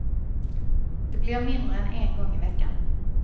Det blir mindre än en gång i veckan.